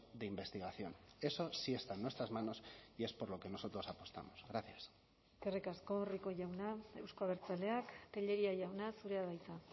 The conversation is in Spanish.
de investigación eso sí está en nuestras manos y es por lo que nosotros apostamos gracias eskerrik asko rico jauna euzko abertzaleak tellería jauna zurea da hitza